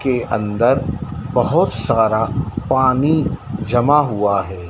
के अंदर बहोत सारा पानी जमा हुआ है।